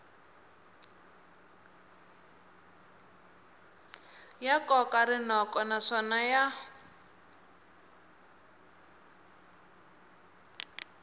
ya koka rinoko naswona ya